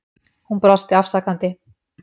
Hún brosti afsakandi.